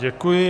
Děkuji.